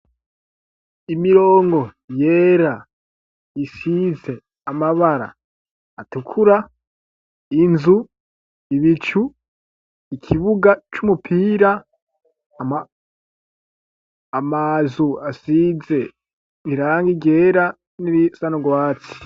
Imirongo yera isize amabara atukura .Inzu ibicu ikibuga cy'umupira amazu asize rirangi ryera n'irisa nurwatsi.